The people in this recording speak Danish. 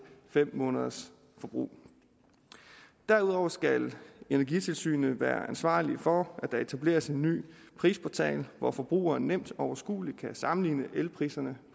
fem måneders forbrug derudover skal energitilsynet være ansvarlig for at der etableres en ny prisportal hvor forbrugeren nemt og overskueligt kan sammenligne elpriserne